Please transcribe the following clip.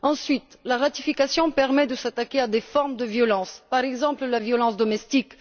Ensuite, la ratification permet de s'attaquer à des formes de violence, par exemple la violence domestique.